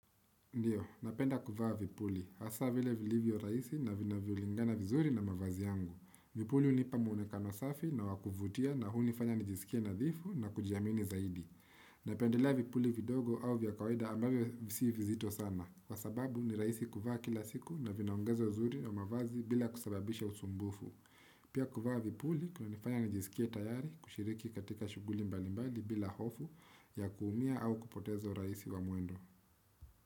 Ndiyo, napenda kuvaa vipuli. Hasa vile vilivyorahisi na vinavyolingana vizuri na mavazi yangu. Vipuli hunipa muonekano safi na wa kuvutia na hunifanya nijisikie nadhifu na kujiamini zaidi. Napendelea vipuli vidogo au vya kawaida ambavyo si vizito sana. Kwa sababu ni rahisi kuvaa kila siku na vinaongeza uzuri wa mavazi bila kusababisha usumbufu. Pia kuvaa vipuli kunanifanya nijisikie tayari kushiriki katika shughuli mbalimbali bila hofu ya kuumia au kupoteza urahisi wa mwendo.